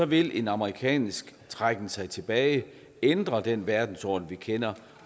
vil en amerikansk trækken sig tilbage ændre den verdensorden vi kender